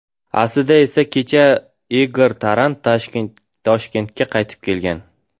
Aslida esa kecha Igor Taran Toshkentga qaytib kelgan.